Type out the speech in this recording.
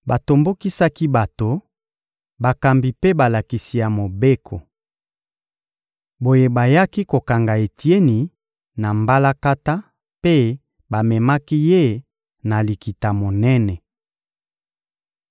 Batombokisaki bato, bakambi mpe balakisi ya Mobeko. Boye, bayaki kokanga Etieni na mbalakata mpe bamemaki ye na Likita-Monene.